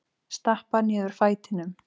Stappa niður fætinum.